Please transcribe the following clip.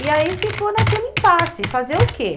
E aí ficou naquele impasse, fazer o quê?